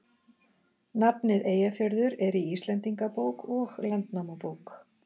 Nafnið Eyjafjörður er í Íslendingabók og Landnámabók.